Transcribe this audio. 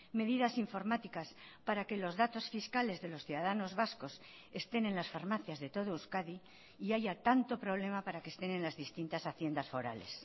medidas informáticas para que los datos fiscales de los ciudadanos vascos estén en las farmacias de todo euskadi y haya tanto problema para que estén en las distintas haciendas forales